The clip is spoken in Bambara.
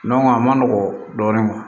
a ma nɔgɔn dɔɔnin